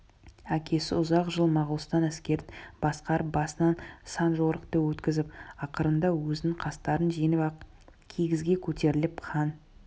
әкесі ұзақ жыл моғолстан әскерін басқарып басынан сан жорықты өткізіп ақырында өзінің қастарын жеңіп ақ кигізге көтеріліп хан